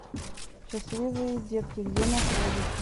счастливые детки где находится